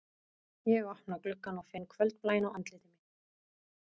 Ég opna gluggann og finn kvöldblæinn á andliti mínu